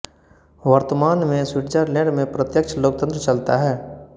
वर्तमान में स्विट्जरलैंड में प्रत्यक्ष लोकतंत्र चलता है